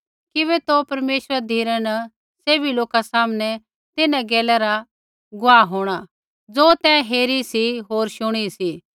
किबै तू परमेश्वरा धिरै न सैभी लोका सामनै तिन्हां गैला रा गुआह होंणा ज़ो तैं हेरी सी होर शुणी सी